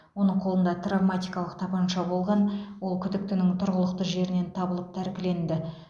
оның қолында травматикалық тапанша болған ол күдіктінің тұрғылықты жерінен табылып тәркіленді